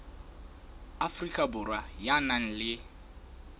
afrika borwa ya nang le